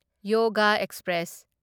yoga express